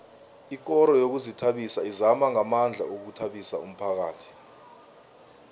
ikoro yezokuzithabisa izama ngamandla ukuthabisa umphakhathi